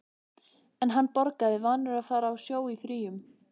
En hann borgaði, vanur að fara á sjó í fríum.